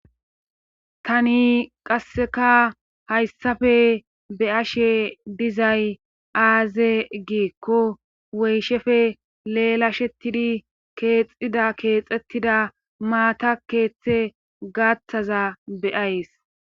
Tani qasseka hayssafe be ashe dizay aaze giikko woyshefe leelashettidi keexxida keexettida maata keeththe gaathaza beyays